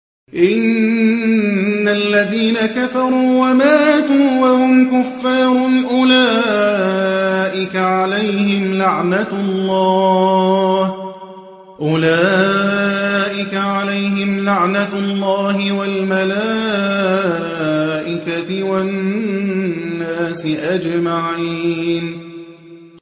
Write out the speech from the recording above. إِنَّ الَّذِينَ كَفَرُوا وَمَاتُوا وَهُمْ كُفَّارٌ أُولَٰئِكَ عَلَيْهِمْ لَعْنَةُ اللَّهِ وَالْمَلَائِكَةِ وَالنَّاسِ أَجْمَعِينَ